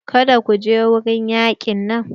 Kada kuje wurin yaƙin nan!